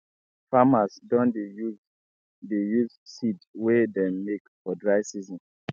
farmers don dey use dey use seed wey dem make for dry season